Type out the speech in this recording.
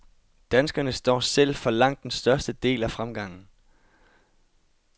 Danskerne står selv for langt den største del af fremgangen.